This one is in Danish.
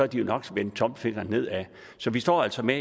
de jo nok vendt tommelfingeren nedad så vi står altså med